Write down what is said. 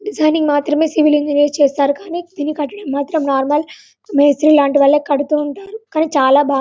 designing మాత్రమే civil engineer చేస్తారు కానీ దీని కట్టడం మాత్రం నార్మల్ మేస్త్రి లాంటి వాలే కడు తూ ఉంటారు కానీ చాలా బాగా --